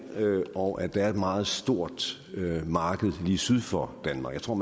og at der er et meget stort marked lige syd for danmark jeg tror